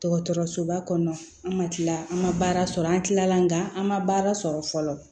Dɔgɔtɔrɔsoba kɔnɔ an ma tila an ma baara sɔrɔ an tilala nka an ma baara sɔrɔ fɔlɔ